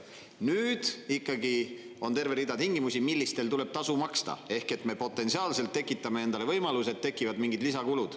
Nüüd ikkagi on terve rida tingimusi, millistel tuleb tasu maksta, ehk et me potentsiaalselt tekitame endale võimaluse, et tekivad mingid lisakulud.